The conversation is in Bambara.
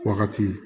Wagati